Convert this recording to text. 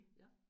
Ja